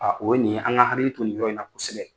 o ye nin ye an ka hakili to nin yɔrɔ in na kosɛbɛ.